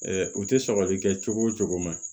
u tɛ sɔgɔli kɛ cogo o cogo